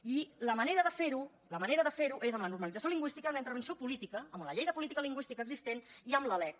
i la manera de fer ho la manera de fer ho és amb la normalització lingüística amb la intervenció política amb la llei de política lingüística existent i amb la lec